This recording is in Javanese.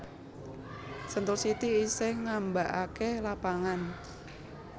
Sentul City isih ngambaake lapangan